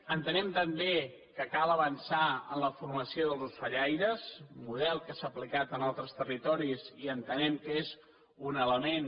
entenem també que cal avançar en la formació dels ocellaires un model que s’ha aplicat en altres territoris i entenem que és un element